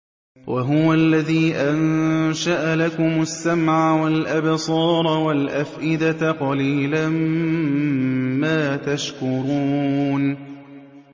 وَهُوَ الَّذِي أَنشَأَ لَكُمُ السَّمْعَ وَالْأَبْصَارَ وَالْأَفْئِدَةَ ۚ قَلِيلًا مَّا تَشْكُرُونَ